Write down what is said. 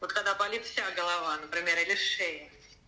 вот когда болит вся голова например или шея